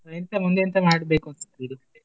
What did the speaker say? ಎಂತ ಮುಂದೆ ಎಂತ ಮಾಡ್ಬೇಕು ಅಂತ ಇದ್ದೀರಿ?